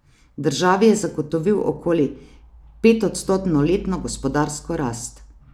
Državi je zagotovil okoli petodstotno letno gospodarsko rast.